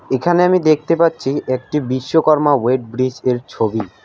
এখানে আমি দেখতে পাচ্ছি একটি বিশ্বকর্মা ওয়েট ব্রিজের ছবি।